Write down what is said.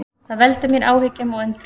Það veldur mér áhyggjum og undrun